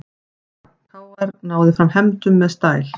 KR náði fram hefndum með stæl